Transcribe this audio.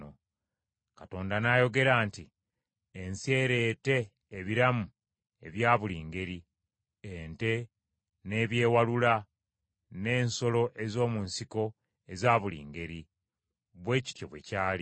Katonda n’ayogera nti, “Ensi ereete ebiramu ebya buli ngeri: ente, n’ebyewalula, n’ensolo ez’omu nsiko eza buli ngeri.” Bwe kityo bwe kyali.